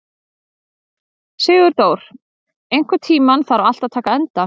Sigurdór, einhvern tímann þarf allt að taka enda.